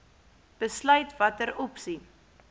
besluit watter opsie